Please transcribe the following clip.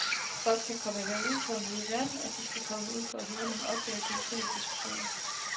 Folk skal komme herud for at møde verden, og de skal komme for at høre nogle oplæg og deltage i diskussioner.